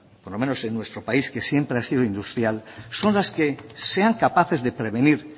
por lo menos en nuestro país que siempre ha sido industrial son las que sean capaces de prevenir